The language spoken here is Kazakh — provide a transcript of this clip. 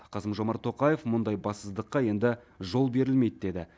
қасым жомарт тоқаев мұндай бассыздыққа енді жол берілмейді деді